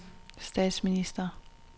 statsminister